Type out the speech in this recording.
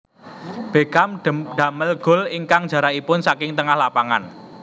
Beckham damel gol ingkang jarakipun saking tengah lapangan